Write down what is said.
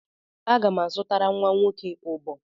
Aga m azụtara nwa nwoke ụbọ.